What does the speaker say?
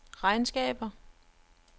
regnskaber